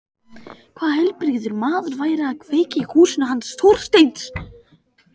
Hvaða heilbrigður maður færi að kveikja í húsinu hans Þorsteins?